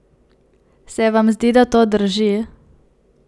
Se vam zdi, da to drži?